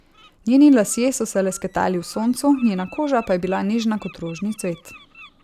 Njeni lasje so se lesketali v soncu, njena koža pa je bila nežna kot rožni cvet.